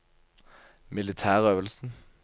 militærøvelsen